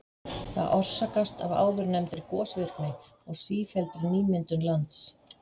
Það orsakast af áðurnefndri gosvirkni og sífelldri nýmyndun lands.